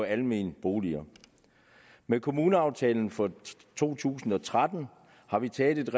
almene boliger med kommuneaftalen for to tusind og tretten har vi taget et